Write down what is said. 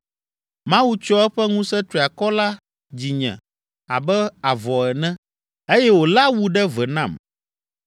Mawu tsyɔ eƒe ŋusẽ triakɔ la dzinye abe avɔ ene, eye wòle awu ɖe ve nam.